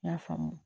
N y'a faamu